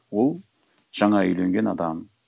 ол жаңа үйленген адам